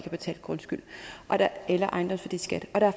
betalt grundskyld eller ejendomsværdiskat og der